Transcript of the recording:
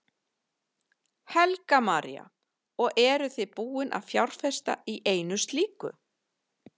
Helga María: Og eruð þið búin að fjárfesta í einu slíku?